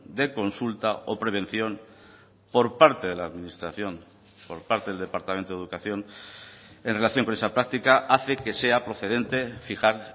de consulta o prevención por parte de la administración por parte del departamento de educación en relación con esa práctica hace que sea procedente fijar